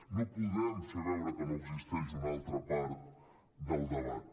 no podem fer veure que no existeix una altra part del debat